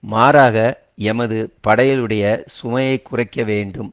மாறாக எமது படைகளுடைய சுமையை குறைக்க வேண்டும்